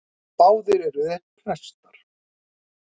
Báðir eru þeir prestar.